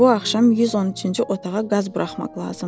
Bu axşam 113-cü otağa qaz buraxmaq lazımdır.